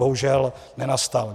Bohužel nenastal.